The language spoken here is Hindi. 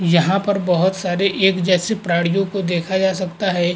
यहाँ पर बहुत सारे एक जैसे प्राणियों को देखा जा सकता है।